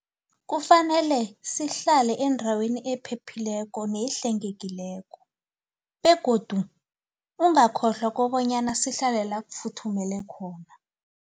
Kufanele sihlale endaweni ephephileko nehlengekileko begodu ungakhlwa kobanyana sihlale la kufuthumele khona.